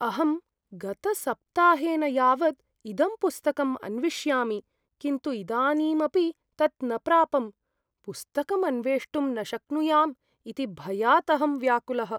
अहं गतसप्ताहेन यावद् इदं पुस्तकं अन्विष्यामि किन्तु इदानीमपि तत् न प्रापम्। पुस्तकम् अन्वेष्टुं न शक्नुयाम् इति भयात् अहं व्याकुलः।